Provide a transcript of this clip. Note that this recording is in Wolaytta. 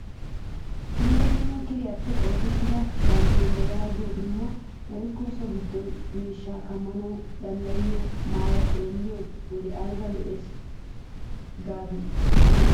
Dumma dumma kiriyaappe oosettiyaa danteliyaa yagiyoo qumaa woykko so giddo miishshata kammanawu maaddiyaa maayoy xeelliyoo wode ayba lo"ees gadii nuna!